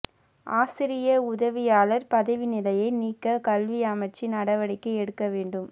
ஆசிரிய உதவியாளர் பதவி நிலையை நீக்க கல்வி அமைச்சு நடவடிக்கை எடுக்க வேண்டும்